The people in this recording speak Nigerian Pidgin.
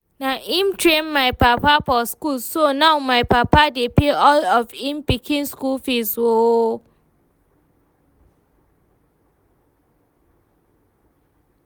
Na im train my papa for school so now my papa dey pay all of im pikin school fees oo